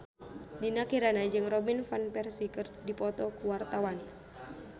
Dinda Kirana jeung Robin Van Persie keur dipoto ku wartawan